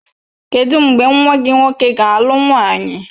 Kedụ mgbe nwa gị nwoke ga-alụ nwaanyị?